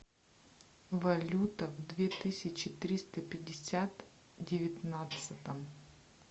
валюта в две тысячи триста пятьдесят девятнадцатом